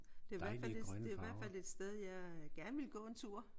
Det er i hvert fald et det er i hvert fald sted jeg gerne ville gå en tur